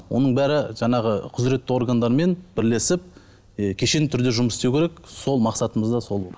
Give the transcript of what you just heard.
оның бәрі жаңағы құзыретті органдармен бірлесіп ы кешенді түрде жұмыс істеу керек сол мақсатымызда сол